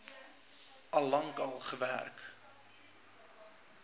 al lank gewerk